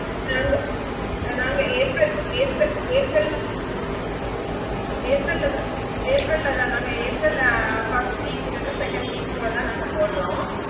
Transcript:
நாங்க நாங்க April April April ல April ல தான் April ல தான் நாங்க AprilFirst week இல்லனா second week குள்ள தா நாங்க போடுறோம்